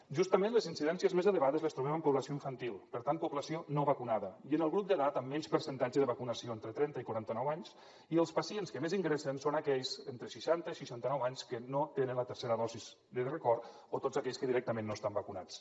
justament les incidències més elevades les trobem en població infantil per tant població no vacunada i en el grup d’edat amb menys percentatge de vacunació entre trenta i quaranta nou anys i els pacients que més ingressen són aquells entre seixanta i seixanta nou anys que no tenen la tercera dosi de record o tots aquells que directament no estan vacunats